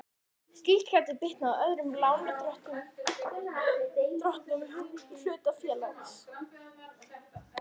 Slíkt gæti bitnað á öðrum lánardrottnum hlutafélags.